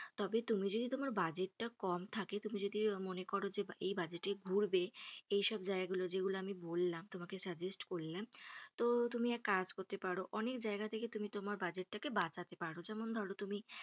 তবে তুমি যদি তোমার বাজেটটা কম থাকে তুমি যদি মনে করো যে এই বাজেটে ঘুরবে এসব জায়গাগুলো যেগুলো আমি তোমাকে বললাম যেগুলো আমি তোমাকে suggest করলাম তো তুমি এক কাজ করতে পারো অনেক জায়গা থেকে তুমি তোমার বাজেটটিকে বাঁচাতে পারো যেমন ধরো তুমি,